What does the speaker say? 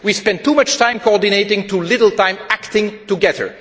We spend too much time coordinating, too little time acting together.